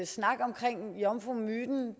snak om jomfrumyten